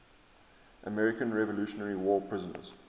american revolutionary war prisoners